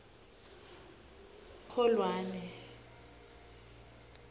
kholwane